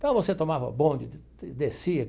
Então, você tomava bonde, descia.